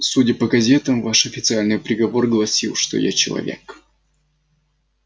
судя по газетам ваш официальный приговор гласил что я человек